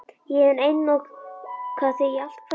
Ég hef einokað þig í allt kvöld.